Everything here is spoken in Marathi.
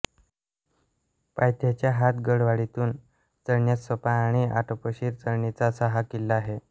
पायथ्याच्या हातगडवाडीतून चढण्यास सोपा आणि आटोपशीर चढणीचा असा हा किल्ला आहे